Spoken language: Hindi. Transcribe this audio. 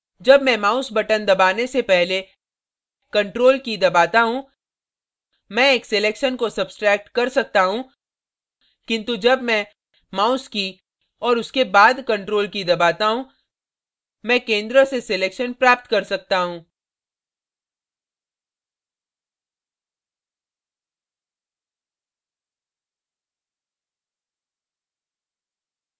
जब मैं mouse button दबाने से पहले ctrl की key दबाता हूँ मैं एक selection को सब्स्ट्रैक्ट सकता हूँ किन्तु जब मैं mouse की key और उसके बाद ctrl की key दबाता हूँ मैं centre से selection प्राप्त कर सकता हूँ